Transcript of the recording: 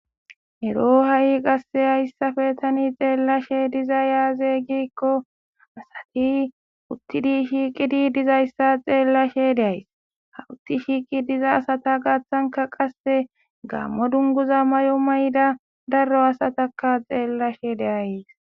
ero ha'i qasse hayssafe tani xeellashe diza yaaze giikko asati uttidi shiiqidi dizayssa xeellashe de'ays ha utti shiiqi diza asata gaaththanka qasse gammo dunguza mayo mayida daro asataka xeellashe de'ays